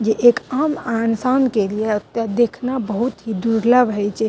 जे एक आम अ इंसान के लिए एते देखना बहुत ही दुर्लभ हेय छै।